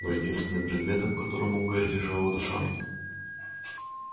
но единственным предметом к которому у гарри лежала душа